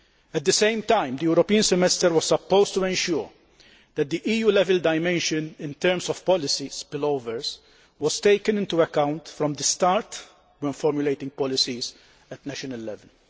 At the same time, the European Semester was supposed to ensure that the EU level dimension in terms of policy spillovers was taken into account from the start when formulating policies at national level.